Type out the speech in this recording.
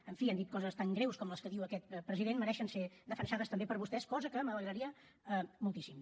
en fi han dit coses tan greus com les que diu aquest president mereixen ser defensades també per vostès cosa que m’alegraria moltíssim